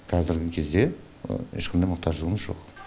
қазіргі кезде ешқандай мұқтаждығымыз жоқ